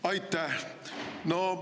Aitäh!